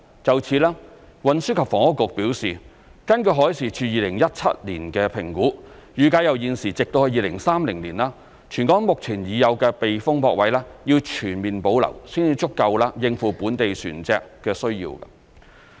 就此，運輸及房屋局表示，根據海事處2017年的評估，預計由現時直至2030年，全港目前已有的避風泊位要全面保留，才足夠應付本地船隻的需要。